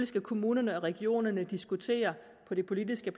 skal kommunerne og regionerne diskutere på det politiske